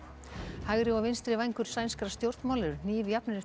hægri og vinstri vængur sænskra stjórnmála eru hnífjafnir eftir